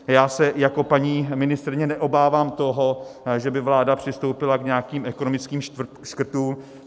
Já se jako paní ministryně neobávám toho, že by vláda přistoupila k nějakým ekonomickým škrtům.